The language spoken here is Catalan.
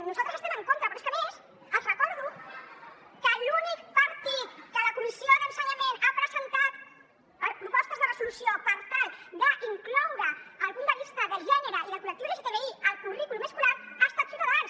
nosaltres hi estem en contra però és que a més els recordo d’ensenyament ha presentat propostes de resolució per tal d’incloure el punt de vista de gènere i del col·lectiu lgtbi al currículum escolar ha estat ciutadans